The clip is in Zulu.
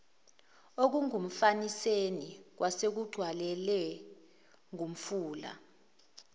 okungumfaniseni kwasekugcwalelwe ngumfula